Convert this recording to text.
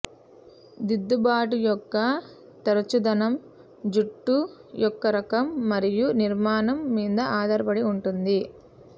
దిద్దుబాటు యొక్క తరచుదనం జుట్టు యొక్క రకం మరియు నిర్మాణం మీద ఆధారపడి ఉంటుంది